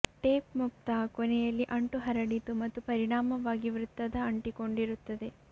tape ಮುಕ್ತ ಕೊನೆಯಲ್ಲಿ ಅಂಟು ಹರಡಿತು ಮತ್ತು ಪರಿಣಾಮವಾಗಿ ವೃತ್ತದ ಅಂಟಿಕೊಂಡಿರುತ್ತದೆ